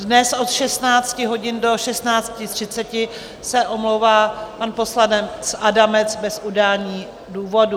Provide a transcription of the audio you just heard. Dnes od 16 hodin do 16.30 se omlouvá pan poslanec Adamec bez udání důvodu.